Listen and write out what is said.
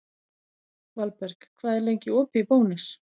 Valberg, hvað er lengi opið í Bónus?